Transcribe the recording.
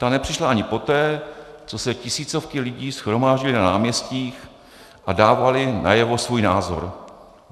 Ta nepřišla ani poté, co se tisícovky lidí shromáždily na náměstích a dávaly najevo svůj názor.